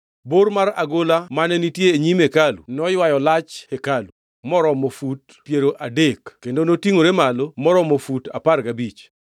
Bor mar agola mane nitie e nyim hekalu noywayo lach hekalu, moromo fut piero adek kendo notingʼore malo maromo fut apar gabich.